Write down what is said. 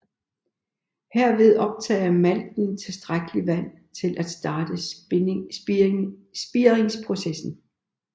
Herved optager malten tilstrækkeligt vand til at starte spiringsprocessen